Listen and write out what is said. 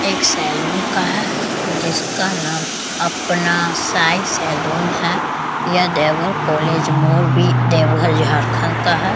एक सैलून का है जिसका नाम अपना साईं सैलून है यह देवघर कॉलेज देवघर झारखंड का है।